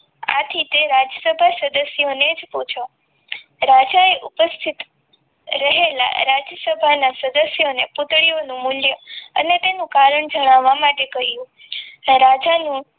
આથી તે રાજ્ય સભા સદસ્ય ને જ પૂછો રાજા ઉપસ્થિત રહેલા રાજસભાના સદસ્યોને પૂતળીઓનું મૂલ્ય અને તેનું કારણ જણાવવા માટે કહ્યું રાજાનું